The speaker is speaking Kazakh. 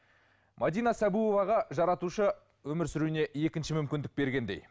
мәдина сабуоваға жаратушы өмір сүруіне екінші мүмкіндік бергендей